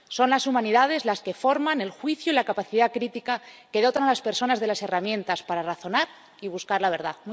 Son las humanidades las que forman el juicio y la capacidad crítica que dotan a las personas de las herramientas para razonar y buscar la verdad.